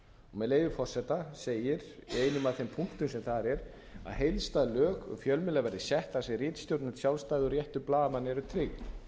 með leyfi forseta segir í einum af þeim punktum sem þar eru heildstæð lög um fjölmiðla verði sett þar sem ritstjórnarlegt sjálfstæði og réttur blaðamanna eru tryggð nú